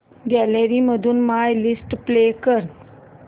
gallery मधून my list play कर